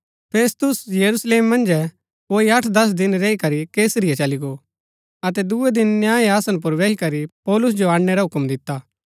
फेस्तुस यरूशलेम मन्जै कोई अठदस दिन रैई करी कैसरिया चली गो अतै दूये दिन न्याय आसन पुर बैही करी पौलुस जो अणनै रा हूक्म दिता